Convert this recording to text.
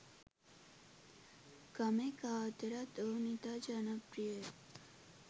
ගමේ කා අතරත් ඔවුන් ඉතා ජනප්‍රියය.